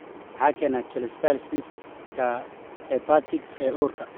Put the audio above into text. Maxaa keena cholestasis-ka hepatic ee uurka?